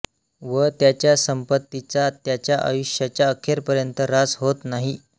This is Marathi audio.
व त्याच्या संपत्तीचा त्याच्या आयुष्याच्या अखेरपर्यंत ऱ्हास होत नाही